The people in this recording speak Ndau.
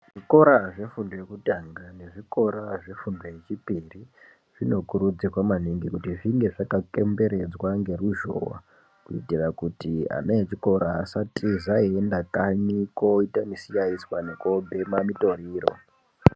Zvikora zvefundo yekutanga nezvikora zvefundo yechipiri zvinokurudzirwa maningi kuti zvinge zvakatenderedzwa ngeruzhowa kuitira kuti ana echikora asatiza einda kanyi koite misiyaizwa nekobhema mitoriro.